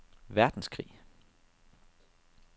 verdenskrig